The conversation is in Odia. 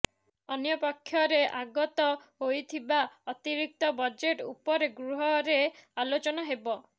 ଅନ୍ୟପକ୍ଷରେ ଆଗତ ହୋଇଥିବା ଅତିରିକ୍ତ ବଜେଟ୍ ଉପରେ ଗୃହରେ ଆଲୋଚନା ହେବ